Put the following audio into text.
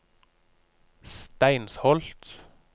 Steinsholt